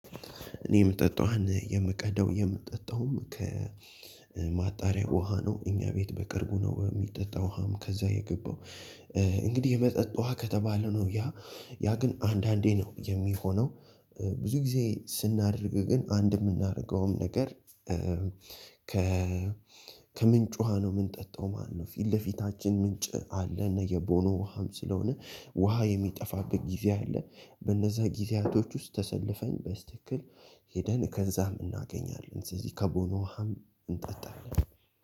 እኔ የምጠጣ ውሃን የምቀደው የምጠጣው ከማጣሪያ ውሃ ነው እኛ ቤት በቅርቡ ነው የሚጠጣው ውሃም ከዛ የገባው። እንግዲህ የመጠጥ ውሃ ከተባለ ነው ያ ያ ግን አንዳንዴ ነው የሚሆነው። ብዙ ጊዜ ስናደርግ ግን አንድ የምናደርገውም ነገር። ከ ከምንጭ ውሃ ነው የምንጠጣው ማለት ነው። ፊት ለፊታችን ምንጭ አለ እና የቦኖ ውሃም ስለሆነ ውሃ የሚጠፋበት ጊዜ አለ። በነዛ ጊዜያቶች ውስጥ ተሰልፈን በስትክክል ሂደን ከዛም እናገኛለን። ስለዚህ ከቦኖ ዉሀም እንጠጣለን።